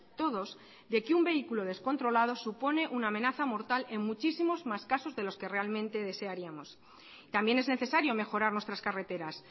todos de que un vehículo descontrolado supone una amenaza mortal en muchísimos más casos de los que realmente desearíamos también es necesario mejorar nuestras carreteras